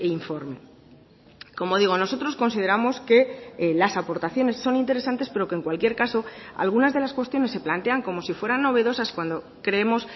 informe como digo nosotros consideramos que las aportaciones son interesantes pero que en cualquier caso algunas de las cuestiones se plantean como si fueran novedosas cuando creemos